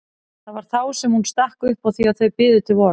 Það var þá sem hún stakk upp á því að þau biðu til vors.